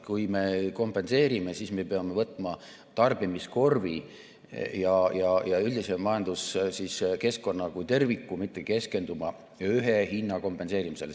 Kui me kompenseerime, siis me peame võtma tarbimiskorvi ja üldise majanduskeskkonna kui terviku, mitte keskenduma ühe hinna kompenseerimisele.